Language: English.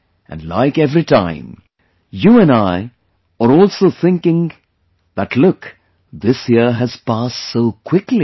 And like every time, you and I are also thinking that look...this year has passed so quickly